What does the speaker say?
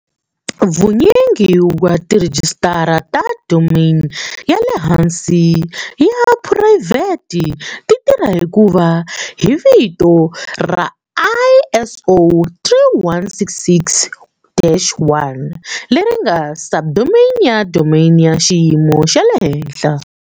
Vunyingi bya tirhejisitara ta domain ya le hansi ta phurayivhete ti tirha hi ku va hi vito ra ISO 3166-1 leri nga subdomain ya domain ya xiyimo xa le henhla.